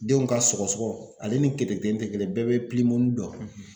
Denw ka sɔgɔsɔgɔ ale ni keteketeni tɛ kelen ye. Bɛɛ be dɔn.